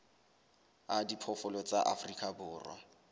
a diphoofolo tsa afrika borwa